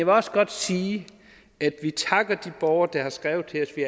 også godt sige at vi takker de borgere der har skrevet til os vi